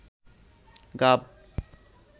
গাব